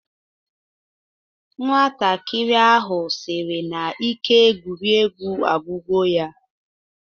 Nwatakịrị ahụ sịrị na ike egwuregwu agwugo ya